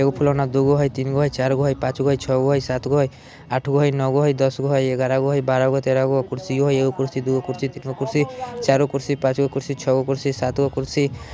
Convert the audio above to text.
एगो फुलौना दुगो हई तीनगो हई चारगो हई पाँचगो हई छगो हई सातगो हई आठगो हई नवगो हई दासगो हई इग्यारा गो हई बारह गो तेरह गो कुर्सियों हई एगो कुर्सी दुगो कुर्सी तीनगो कुर्सी चारगो कुर्सी पाँचगो कुर्सी छ्गो कुर्सी सातगो कुर्सी --